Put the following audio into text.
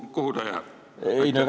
Kuhu ta jääb?